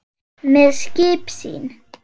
með skip sín